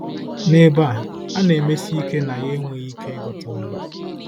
N'ebe a, a na-emesi ike na ya enweghị ike ịgụta ọnụ.